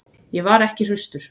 Ég var ekki hraustur.